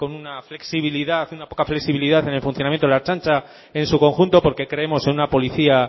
una poca flexibilidad en el funcionamiento de la ertzaintza en su conjunto porque creemos en una policía